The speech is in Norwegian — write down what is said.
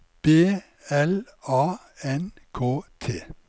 B L A N K T